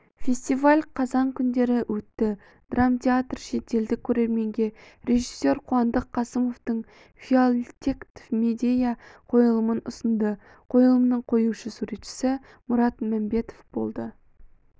фестиваль қазан күндері өтті драмтеатр шетелдік көрерменге режиссер қуандық қасымовтың филактет-медея қойылымын ұсынды қойылымның қоюшы суретшісі мұрат мәмбетов болды